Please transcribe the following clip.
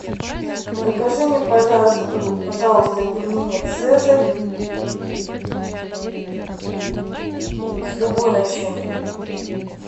закажи мне пожалуйста пельмени цезарь с любой начинкой